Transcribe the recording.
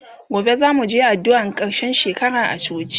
gobe zamuje addu'an karshen shekara a coci